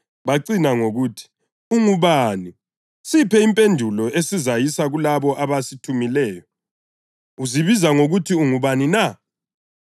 Bacina ngokuthi, “Ungubani? Siphe impendulo esizayisa kulabo abasithumileyo. Uzibiza ngokuthi ungubani na?”